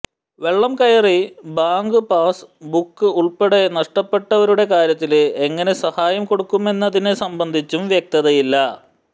വെള്ളം കയറി bank pass book ഉള്പ്പെടെ നഷ്ടപ്പെട്ടവരുടെ കാര്യത്തില് എങ്ങനെ സഹായം കൊടുക്കുമെന്നതിനെ സംബന്ധിച്ചും വ്യക്തതയില്ല